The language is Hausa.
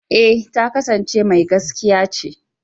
eh ta kasance Mai gaskiya ce.